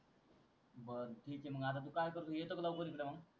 बर ठीक आहे मंग आता तु काय करतो येतो का लवकर इकडं मग